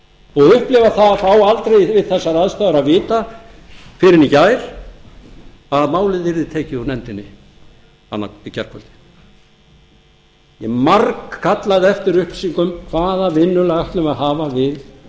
og upplifa það að fá aldrei við þessar aðstæður að vita fyrr en í gær að málið yrði tekið úr nefndinni í gærkvöldi ég margkallaði eftir upplýsingum hvaða vinnulag ætlum við að hafa við